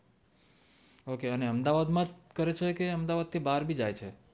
okay અને અમદાવાદ માંજ કરે છે કે અમદાવાદ થી બાર ભી જાય છે